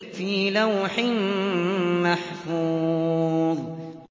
فِي لَوْحٍ مَّحْفُوظٍ